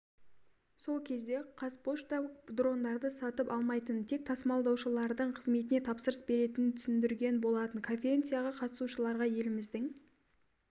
сол кезде қазпошта дрондарды сатып алмайтынын тек тасымалдаушылардың қызметіне тапсырыс беретінін түсіндірген болатын конференцияға қатысушыларға еліміздің